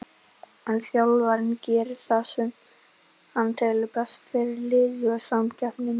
En þjálfarinn gerir það sem hann telur best fyrir liðið og samkeppnin er mikil.